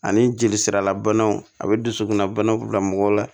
Ani jeli siralabanaw a bɛ dusukunnabanaw bila mɔgɔw la